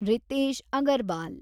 Ritesh Agarwal